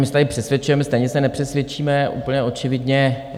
My se tady přesvědčujeme, stejně se nepřesvědčíme úplně očividně.